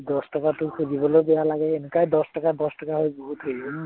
দচটকা তোৰ খুজিবলৈ বেয়া লাগে এনেকুৱা দচটকা দচটকা হৈ বহুত হয়।